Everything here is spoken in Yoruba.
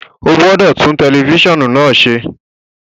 O gbọdọ tun tẹlifisiọnu naa ṣe!